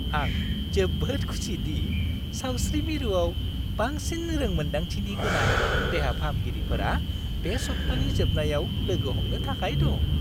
आं जोबोद खुसि दि सावस्रि मिरुआव बांसिन रों-मोनदांथि गोनां देहा-फाहामगिरिफोरा बे सप्तानि जोबनायाव लोगो हमनो थाखाय दं।